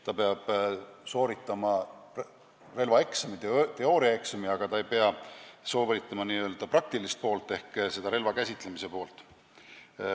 Ta peab sooritama relvaeksami teooriaosa, aga ei pea sooritama praktilist laskmist ehk demonstreerima relva käsitsemist.